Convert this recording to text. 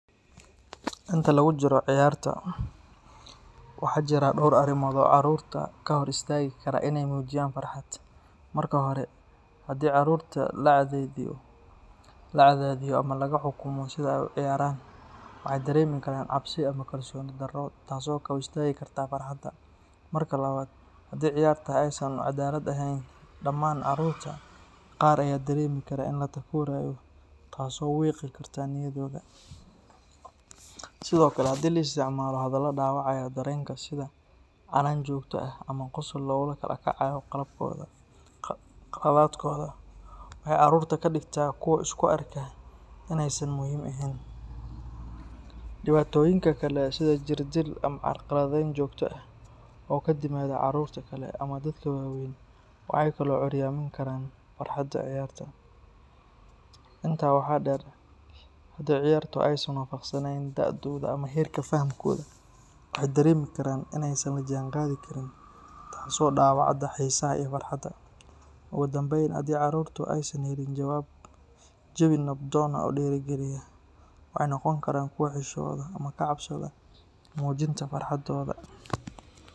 Inta lagu jiro ciyaarta, waxaa jira dhowr arrimood oo caruurta ka hor istaagi kara inay muujiyaan farxad. Marka hore, haddii caruurta la cadaadiyo ama laga xukumo sida ay u ciyaarayaan, waxay dareemi karaan cabsi ama kalsooni darro taasoo ka hor istaagi karta farxadda. Marka labaad, haddii ciyaarta aysan u cadaalad ahayn dhammaan caruurta, qaar ayaa dareemi kara in la takoorayo taasoo wiiqi karta niyaddooda. Sidoo kale, haddii la isticmaalo hadallo dhaawacaya dareenka sida canaan joogto ah ama qosol lagula kacayo qaladaadkooda, waxay caruurta ka dhigtaa kuwo isku arka inaysan muhiim ahayn. Dhibaatooyinka kale sida jirdil ama carqaladeyn joogto ah oo ka timaada caruurta kale ama dadka waaweyn waxay kaloo curyaamin karaan farxadda ciyaarta. Intaa waxaa dheer, haddii ciyaartu aysan waafaqsanayn da’dooda ama heerka fahamkooda, waxay dareemi karaan inaysan la jaanqaadi karin taasoo dhaawacda xiisaha iyo farxadda. Ugu dambayn, haddii caruurtu aysan helin jawi nabdoon oo dhiirrigeliya, waxay noqon karaan kuwo xishooda ama ka cabsada muujinta farxaddooda.